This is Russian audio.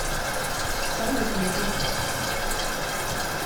салют мики